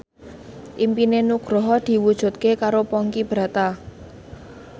impine Nugroho diwujudke karo Ponky Brata